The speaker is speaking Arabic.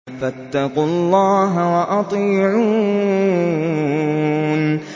فَاتَّقُوا اللَّهَ وَأَطِيعُونِ